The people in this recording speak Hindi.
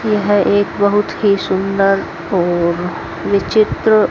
यह एक बहुत ही सुंदर और विचित्र--